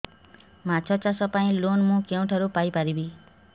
ମାଛ ଚାଷ ପାଇଁ ଲୋନ୍ ମୁଁ କେଉଁଠାରୁ ପାଇପାରିବି